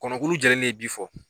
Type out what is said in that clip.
Kɔnɔkulu jɛlen de bɛ bi fɔ